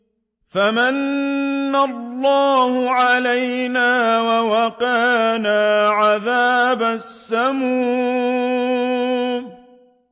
فَمَنَّ اللَّهُ عَلَيْنَا وَوَقَانَا عَذَابَ السَّمُومِ